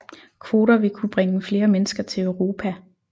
Kvoter vil kun bringe flere mennesker til Europa